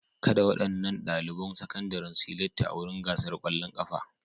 Kada waɗannan ɗaliban sakandaren su yi latti a wurin gasar ƙwallon ƙafa.